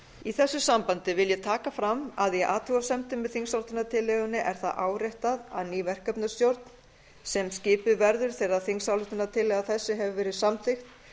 í þessu sambandi vil ég taka fram að í athugasemdum með þingsályktunartillögunni er það áréttað að ný verkefnastjórn sem skipuð verður þegar þingsályktunartillaga þess hefur verið samþykkt